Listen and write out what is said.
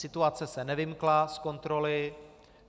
Situace se nevymkla z kontroly.